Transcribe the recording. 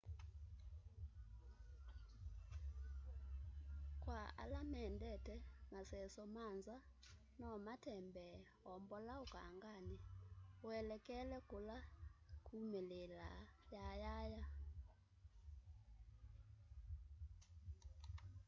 kwa ala mendete maseso ma nza no matembee o mbola ukangani uelekele kula kumililaa yayaya